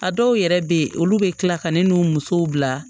A dɔw yɛrɛ bɛ ye olu bɛ tila ka ne n'u musow bila